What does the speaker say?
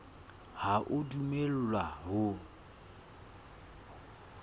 ha o a dumellwa ho